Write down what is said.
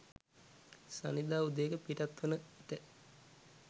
ශනිදා උදයක පිටත් වන විට